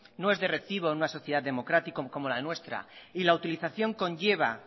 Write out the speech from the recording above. no es de recibo en una sociedad democrática como la nuestra y la utilización conlleva